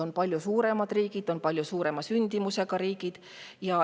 On palju suuremad riigid, palju suurema sündimusega riigid.